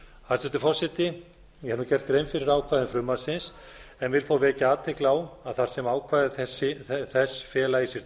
hæstvirtur forseti ég hef nú gert grein fyrir ákvæðum frumvarpsins en vil þó vekja athygli á að þar sem ákvæði þess fela í sér